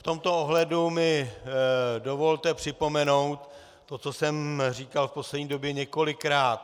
V tomto ohledu mi dovolte připomenout to, co jsem říkal v poslední době několikrát.